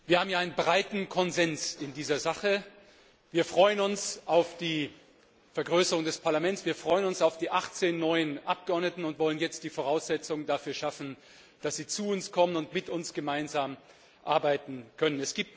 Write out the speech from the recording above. Wir haben hier in dieser Sache einen breiten Konsens. Wir freuen uns auf die Vergrößerung des Parlaments, wir freuen uns auf die 18 neuen Abgeordneten, und wir wollen jetzt die Voraussetzungen dafür schaffen, dass sie zu uns kommen und mit uns gemeinsam arbeiten können.